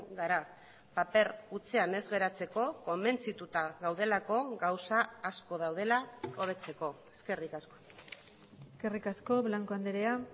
gara paper hutsean ez geratzeko konbentzituta gaudelako gauza asko daudela hobetzeko eskerrik asko eskerrik asko blanco andrea